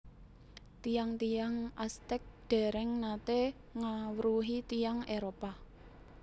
Tiyang tiyang Aztec dèrèng naté ngawruhi tiyang Éropah